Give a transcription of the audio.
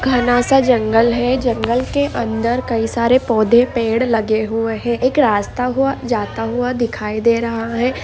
घन सा जंगल है। जंगल के अंदर कई सारे पौधे पेड़ लगे हुए है। एक रास्ता वहाँ जाता हुआ दिखाई दे रहा है।